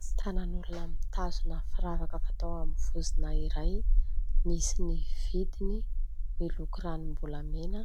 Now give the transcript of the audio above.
Tsy tànan'olona mitazona firavaka fatao amin'ny vozona iray, misy ny vidiny, miloko ranom-bolamena,